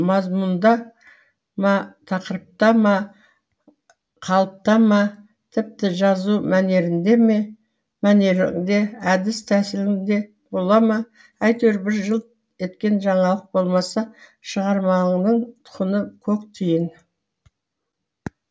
мазмұнда ма тақырыпта ма қалыпта ма тіпті жазу мәнеріңде ме әдіс тәсіліңде бола ма әйтеуір бір жылт еткен жаңалық болмаса шығармаңының құны көк тиын